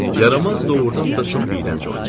Yaramaz doğurdan da çox iyrənc oynayır.